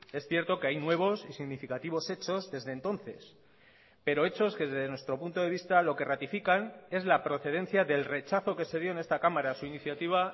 es cierto que hay nuevos y significativos hechos desde entonces pero hechos que desde nuestro punto de vista lo que ratifican es la procedencia del rechazo que se dio en esta cámara a su iniciativa